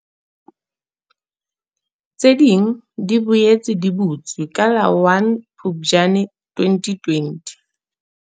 tsi di boetse di butswe ka la 1 Phuptjane 2020.